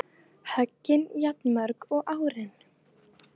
Höggin jafnmörg og árin